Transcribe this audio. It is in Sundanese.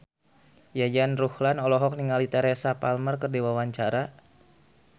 Yayan Ruhlan olohok ningali Teresa Palmer keur diwawancara